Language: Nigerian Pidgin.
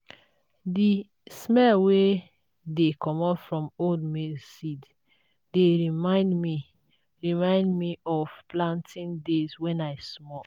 the smell wey dey commot from old maize seeds dey remind me remind me of planting days when i small.